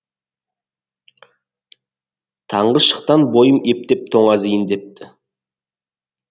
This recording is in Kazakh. таңғы шықтан бойым ептеп тоңазиын депті